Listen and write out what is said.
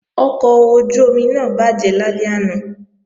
Ọkọ̀ ojú-omi náà bàjẹ́ lálẹ́ àná